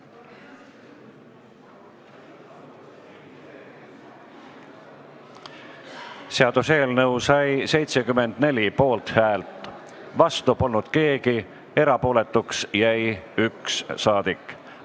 Hääletustulemused Seaduseelnõu sai 74 poolthäält, vastu polnud keegi, erapooletuks jäi üks saadik.